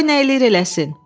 Qoy nə eləyir eləsin.